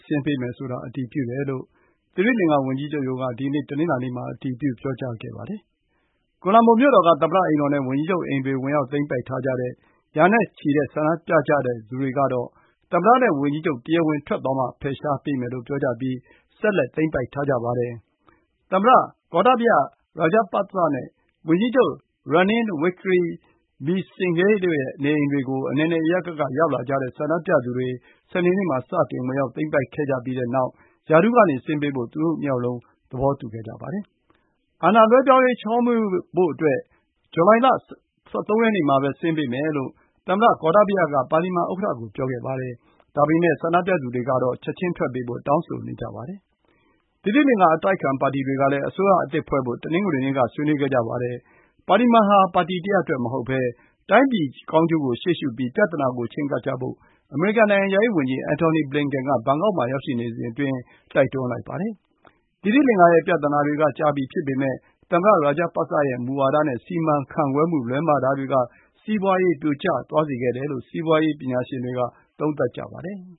ဆင်းပေးမယ်ဆိုတာ အတည်ပြုတယ်လို့ သီရိလင်္ကာဝန်ကြီးချုပ်ရုံးက ဒီနေ့ တနင်္လာနေ့မှာ အတည်ပြုပြောကြားခဲ့ပါတယ်။ ကိုလံဘို မြို့တော်က သမ္မတအိမ်တော်နဲ့ဝန်ကြီးချုပ်အိမ်တွေ ဝင်ရောက်သိမ်းပိုက် ထားကြတဲ့ ရာနဲ့ချီတဲ့ဆန္ဒပြသူတွေက သမ္မတနဲ့ဝန်ကြီးချုပ် တရားဝင်ထွက်သွားမှ ဖယ်ရှားပေးမယ်လို့ ပြောကြားပြီး ဆက်လက်သိမ်းပိုက်ထားကြပါတယ်။ သမ္မတ Gotabaya Rajapaksa နဲ့ ဝန်ကြီးချုပ် Ranil Wickremesinghe တို့ရဲ့ နေအိမ်တွေကို အနယ်နယ်အရပ်ရပ်က ရောက်လာကြတဲ့ ဆန္ဒပြသူတွေ စနေနေ့မှာ စတင်ဝင်ရောက် သိမ်းပိုက်ခဲ့ကြပြီးနောက် ရာထူးကနေ ဆင်းပေးဖို့ သူတို့ ၂ ယောက်လုံး သဘောတူခဲ့ကြပါတယ်။ အာဏာလွှဲပြေားရေး ချောမွေ့ဖို့အတွက် ဇူလိုင် ၁၃ ရက်နေ့ မှာ ဆင်းပေးမယ်လို့ သမ္မတ Gotabaya Rajapaksa က ပါလီမန် ဥက္ကဋ္ဌကို ပြောခဲ့ပါတယ်။ ဒါပေမယ့် ဆန္ဒပြသူတွေကတော့ ချက်ချင်းထွက်ပေးဖို့ တောင်းဆိုနေကြပါတယ်။ သီရိလင်္ကာ အတိုက်အခံပါတီတွေကလည်း အစိုးရအသစ်ဖွဲ့ဖို့ တနင်္ဂနွေနေ့က ဆွေးနွေးခဲ့ကြပါတယ်။ ပါလီမန်ဟာ ပါတီတရပ်အတွက်မဟုတ်ဘဲ တိုင်းပြည်ကောင်းကျိုးကို ရှေ့ရှုပြီး ပြဿနာကိုချဉ်းကပ်ဖို့ အမေရိကန် နိုင်ငံခြားရေးဝန်ကြီး Anthony Blinken က ဘန်ကောက်မှာ ရောက်ရှိနေစဉ် တိုက်တွန်းလိုက်ပါတယ်။ သီရိလင်္ကာရဲ့ပြဿနာတွေက ကြာပြီဖြစ်ပေမယ့် သမ္မတ Rajapaksa ရဲ့မူဝါဒနဲ့စီမံခန့်ခွဲမှု လွဲမှားတာတွေက စီးပွါးရေး ပြိုကျသွားစေခဲ့တယ်လို့ စီးပွါးရေး ပညာရှင်တွေက သုံးသပ်ကြပါတယ်။